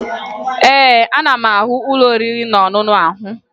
Ee, ana m ahụ ụlọ oriri na ọṅụṅụ ahụ